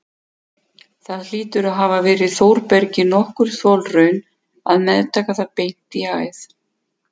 Það hlýtur að hafa verið Þórbergi nokkur þolraun að meðtaka það beint í æð.